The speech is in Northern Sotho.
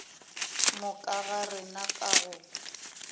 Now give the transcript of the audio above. moka ga rena ka go